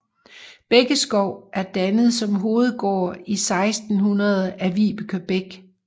Bækkeskov er dannet som hovedgård i 1600 af Vibeke Beck